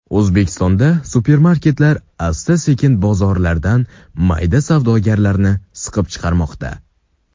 O‘zbekistonda supermarketlar asta-sekin bozordan mayda savdogarlarni siqib chiqarmoqda.